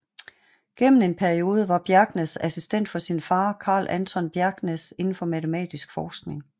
Gennem en periode var Bjerknes assistent for sin far Carl Anton Bjerknes inden for matematisk forskning